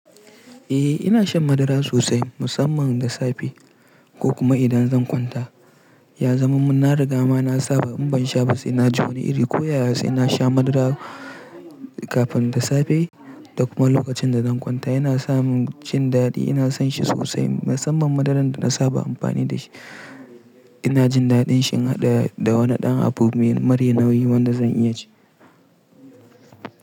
Eh ina shan madara sosai musamman da safe ko kuma idan zan kwanta. Ya zama mun na riga mana saba in ban sha ba sai na ji wani iri. Ko yaya sai na sha madara kafin da safe da kuma lokacin da zan kwanta yana sa mun jin dadi. Ina son shi sosai musamman madaran da na saba amfani da shi. Ina jin daɗin shi in haɗa da wani ɗan abubuwa mara nauyi wanda zan iya ci.